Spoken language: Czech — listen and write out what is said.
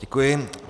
Děkuji.